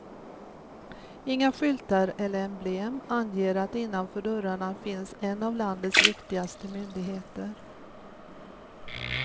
Inga skyltar eller emblem anger att innanför dörrarna finns en av landets viktigaste myndigheter.